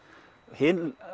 hin